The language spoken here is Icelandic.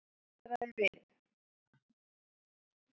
Ég staldraði við.